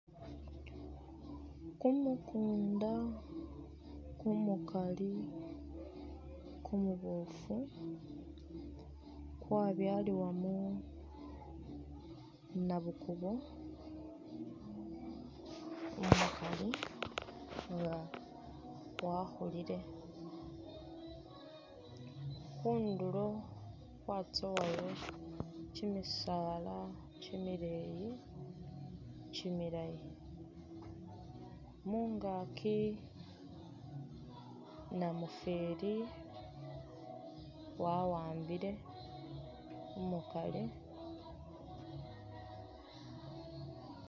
Kumukunda kumukali kumuboofu kwabyalibwamo nabukubo umukali nga wakhulile ,khundulo khwatsowayo kyimisaala kyimileyi kyimilaayi ,mungaaki namufeli wawambile umukali